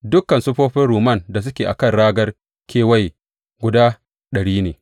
Dukan siffofin rumman da suke a kan ragar kewaye, guda ɗari ne.